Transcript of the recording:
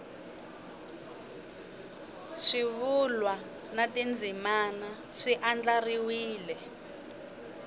swivulwa na tindzimana swi andlariwile